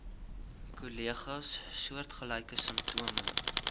kollegas soortgelyke simptome